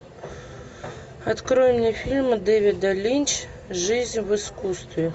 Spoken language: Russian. открой мне фильм дэвида линч жизнь в искусстве